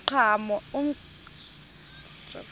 umqhano